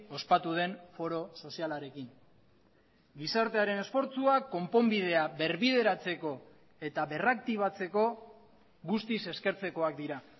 ospatu den foro sozialarekin gizartearen esfortzuak konponbidea berbideratzeko eta berraktibatzeko guztiz eskertzekoak dira